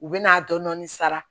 U bɛ n'a dɔndɔni sara